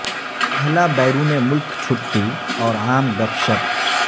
پہلا بیرون ملک چھٹی اور عام گپ شپ